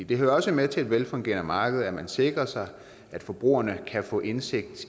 det hører også med til et velfungerende marked at man sikrer sig at forbrugerne kan få indsigt